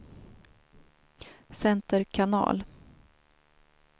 center kanal